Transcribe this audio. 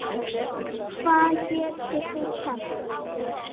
Liggja mörg verk eftir hann.